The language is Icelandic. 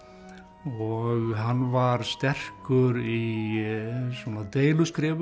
og hann var sterkur í svona